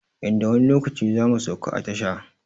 Yanda wani lokaci zamu sauka a tasha